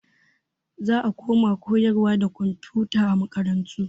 Za a koma koyarwa da komfuta a makarantu.